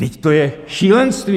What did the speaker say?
Vždyť to je šílenství!